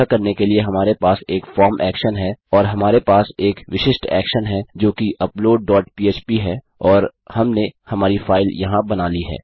यह करने के लिए हमारे पास एक फॉर्म एक्शन है और हमारे पास एक विशिष्ट एक्शन है जोकि अपलोड डॉट पह्प है और हमने हमारी फाइल यहाँ बना ली है